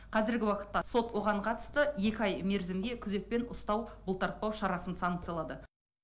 қазіргі уақытта сот оған қатысты екі ай мерзімге күзетпен ұстау бұлтартпау шарасын санкциялады